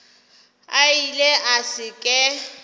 a ile a se ke